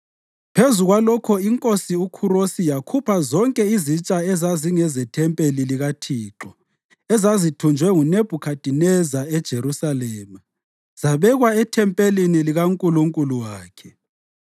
Phezu kwalokho iNkosi uKhurosi yakhupha zonke izitsha ezazingezethempeli likaThixo ezazithunjwe nguNebhukhadineza eJerusalema zabekwa ethempelini likankulunkulu wakhe.